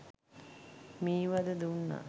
මී වද දුන්නා.